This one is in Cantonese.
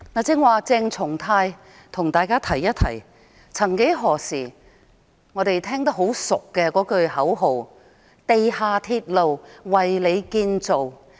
剛才，鄭松泰議員提起一句曾幾何時我們耳熟能詳的口號："地下鐵路為你建造"。